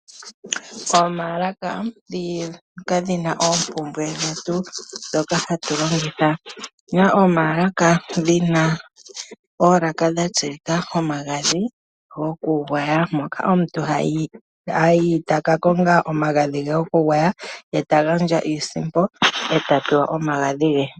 Omaalaka dhoka dhi na oompumbwe dhetu dhoka ha tu longitha. Otu na omaalaka dhina oolaka dhatsilika omagadhi gokugwaya moka omuntu ha yi taka konga omagadhi ge gokugwaya ye ta gandja iisimpo eta pewa omagadhi ge.